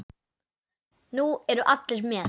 Nú eru allir með!